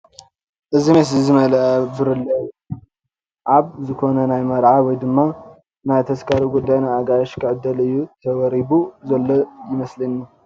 እዚ ሜስ ዝመልኣ ብርለ እዩ ኣብ ዝኾነ ናይ መርዓ ወይ ድማ ናይ ተስካር ጉዳይ ንኣጋይሽ ኽዕደል እዩ ተወሪቡ ዘሎ ይመስለኒ ።